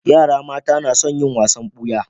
Yara mata na son yin wasan buya